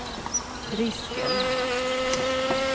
risken